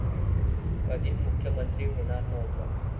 कधीच मुख्यमंत्री होणार नव्हतो'